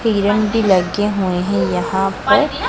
तिरन भी लगे हुए है यहां पर--